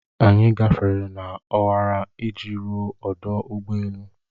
Anyị gafere n'ọwara iji ruo ọdụ ụgbọ elu.